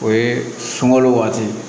O ye sunkalo wagati ye